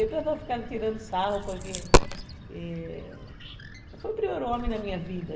E o pessoal ficava ali tirando sarro, porque... Foi o primeiro homem na minha vida.